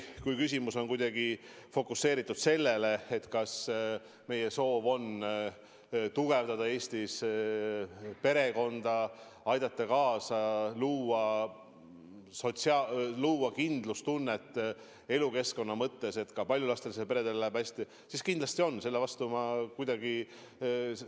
Kui küsimus on kuidagi fokuseeritud sellele, kas meie soov on tugevdada Eestis perekonda, aidata kaasa, luua kindlustunnet elukeskkonna mõttes, et ka paljulapselistel peredel läheb hästi, siis kindlasti selle vastu ma kuidagi küll ei ole.